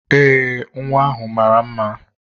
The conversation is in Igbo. Ee, nwa ahụ mara mma.